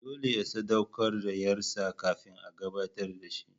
Dole ya sadaukar da ƴarsa kafin a gabatar da shi.